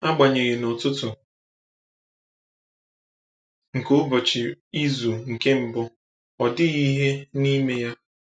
Agbanyeghị, n’ụtụtụ nke ụbọchị izu nke mbụ, ọ dịghị ihe n’ime ya.